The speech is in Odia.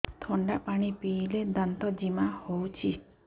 ଥଣ୍ଡା ପାଣି ପିଇଲେ ଦାନ୍ତ ଜିମା ହଉଚି